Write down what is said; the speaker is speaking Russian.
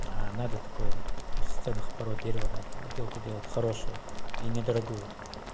надо такое из ценных пород дерева надо отделку делать хорошую и недорогую